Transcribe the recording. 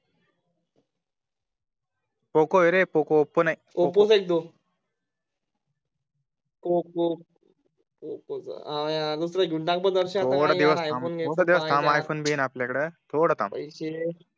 Poco आहे रे Poco Oppo नाही ओप्पो नाही पोक्को पोक्को हा यार दुसरं घेऊन टा क रे दरश्या फोन भी आहे आपल्या कडे थोडं थांब